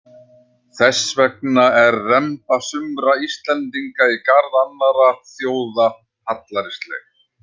Þess vegna er remba sumra Íslendinga í garð annarra þjóða hallærisleg.